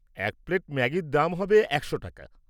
এক প্লেট ম্যাগির দাম হবে একশো টাকা।